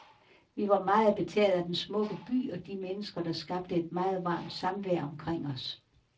Vi var meget betaget af den smukke by og de mennesker, der skabte et meget varmt samvær omkring os.